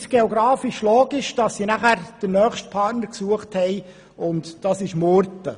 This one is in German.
Aus geografischer Sicht ist es logisch, dass die Gemeinde danach den nächstliegenden Partner gesucht hat, und das ist Murten.